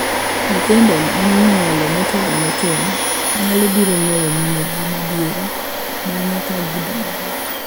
Nyithindo minyuolo motelone keny nyalo biro ng'eyo minegi madieri bang'e ka gidongo.